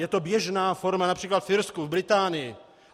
Je to běžná forma například v Irsku, v Británii.